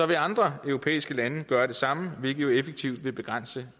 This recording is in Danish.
vil andre europæiske lande gøre det samme hvilket jo effektivt vil begrænse